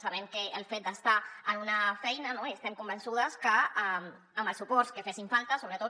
sabem que el fet d’estar en una feina i estem convençudes que amb els suports que fessin falta sobretot